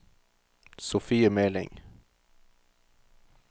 Sofie Meling